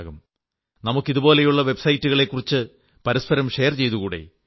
നമുക്ക് ഇതുപോലുള്ള വെബ്സൈറ്റുകളെക്കുറിച്ച് പരസ്പരം ഷെയർ ചെയ്തുകൂടേ